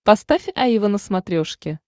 поставь аива на смотрешке